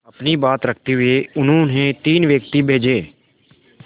अपनी बात रखते हुए उन्होंने तीन व्यक्ति भेजे